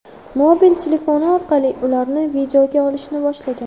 mobil telefoni orqali ularni videoga olishni boshlagan.